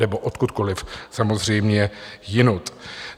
Nebo odkudkoliv samozřejmě odjinud.